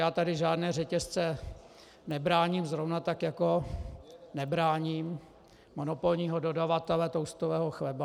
Já tady žádné řetězce nebráním, zrovna tak jako nebráním monopolního dodavatele toastového chleba.